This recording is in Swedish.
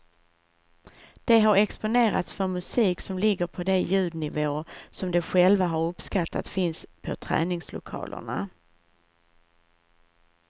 De har exponerats för musik som ligger på de ljudnivåer som de själva har uppskattat finns på träningslokalerna.